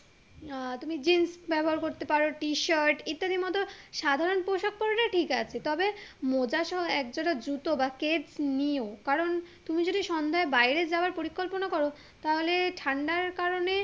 আহ তুমি জিন্স ব্যবহার করতে পারো T-shirt ইত্যাদির মতো সাধারণ পোশাক পড়লে ঠিক আছে তবে মোজা সহ এক জোড়া জুতো বা স্কেইট নিও কারণ তুমি যদি সন্ধ্যায় বাইরে যাবার পরিকল্পনা করো তাহলে ঠান্ডার কারণে